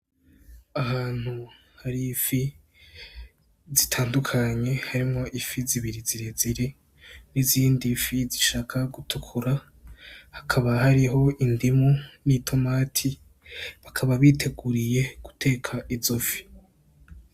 Ahantu hari ifi zitandukanye harimwo ifi zibiri zirezire n'izindi fi zishaka gutukura, hakaba hariho indimu n'itomati, bakaba biteguriye guteka izo fi.